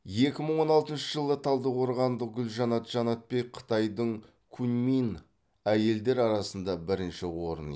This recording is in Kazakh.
екі мың он алтыншы жылы талдықорғандық гүлжанат жанатбек қытайдың куньмин әйелдер арасында бірінші орын